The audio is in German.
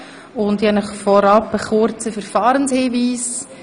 Vorab möchte ich einen kurzen Hinweis zum Verfahren machen.